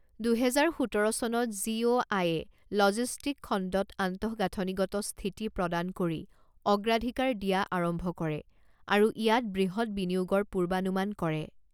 দুহেজাৰ সোতৰ চনত জি অ' আইয়ে লজিষ্টিক খণ্ডক আন্তঃগাঁথনিগত স্থিতি প্ৰদান কৰি অগ্ৰাধিকাৰ দিয়া আৰম্ভ কৰে আৰু ইয়াত বৃহৎ বিনিয়োগৰ পূৰ্বানুমান কৰে।